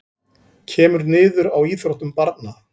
Kemur niður á íþróttum barna